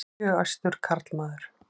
Mjög æstur karlmaður.